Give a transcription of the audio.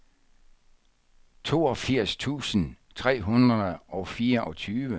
toogfirs tusind tre hundrede og fireogtyve